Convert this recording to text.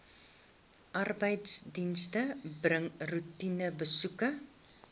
arbeidsdienste bring roetinebesoeke